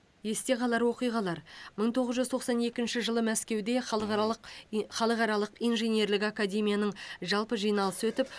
есте қалар оқиғалар мың тоғыз жүз тоқсан екінші жылы мәскеуде халықаралық и халықаралық инженерлік академияның жалпы жиналысы өтіп